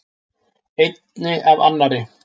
Einni af annarri.